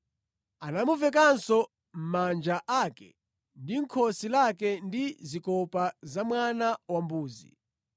Anamuvekanso manja ake ndi khosi lake ndi zikopa za mwana wambuzi.